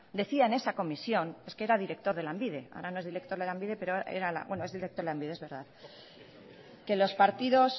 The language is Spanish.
decía en esa comisión es que era director de lanbide ahora no es director de lanbide pero bueno es director de lanbide es verdad que los partidos